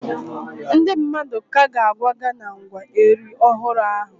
Ndị mmadụ ka ga-akwaga na ngwa Eri ọhụrụ ahụ.